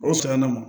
O sɔn na ma